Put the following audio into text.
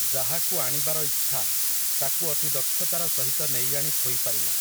ଯାହାକୁ ଆଣିବାର ଇଚ୍ଛା, ତାକୁ ଅତି ଦକ୍ଷତାର ସହିତ ନେଇ ଆଣି ଥୋଇ ପାରିଲା ।